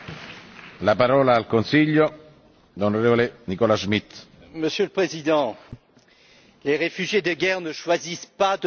Monsieur le Président, les réfugiés de guerre ne choisissent pas de partir de chez eux, ils n'ont simplement pas d'autre choix.